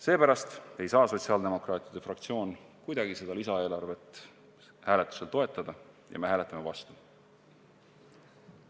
Seepärast ei saa sotsiaaldemokraatide fraktsioon kuidagi seda lisaeelarvet hääletusel toetada ja me hääletame vastu.